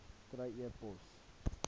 kry e pos